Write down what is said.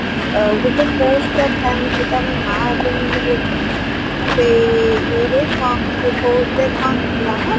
ଗୋଟେ ଥାଏ ତାର ନାଁ ଏବେ ମାନେ ପଡୁନି ସେଇ ଇଏରେ କଣ ସେ କୋଉଥିରେ କଣ ଥିଲା ନାଁ